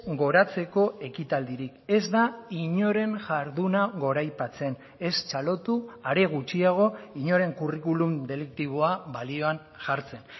goratzeko ekitaldirik ez da inoren jarduna goraipatzen ez txalotu are gutxiago inoren curriculum deliktiboa balioan jartzen